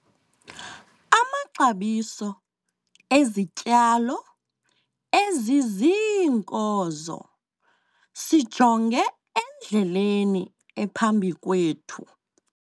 Amaxabiso ezityalo eziziinkozo - sijonge endleleni ephambi kwethu.